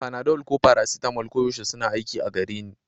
Panadol ko paracetamol koyaushe suna aiki a gare ni